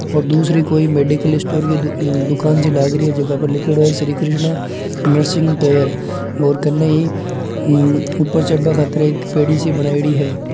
और दूसरी कोई मेडिकल स्टोर की दुकान ज्यो लाग रही है जका पर लिख्योड़ो है श्री कृष्णा नर्सिंग केयर और कने ही हु ऊपर चढ़बा खातिर पेड़ी बनायोडी है।